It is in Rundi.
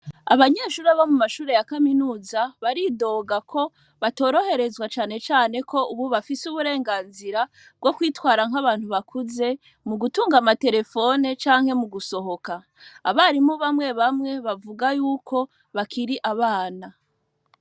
Abanyeshure bo mu mashure ya kaminuza ,baridoga ko batoroherezwa canecane ko bafise uburenganzira bwo kwitwara nk'abantu bakuze, mugutunga ama terefone canke mu gusohoka. Abarimu bamwe bamwe bavuga yuko bakiri abana.